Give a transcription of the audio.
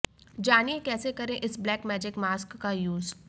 जानिए कैसे करें इस ब्लैक मैजिक मास्क का यूज